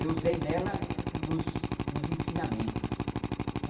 Eu usei nela nos nos ensinamentos.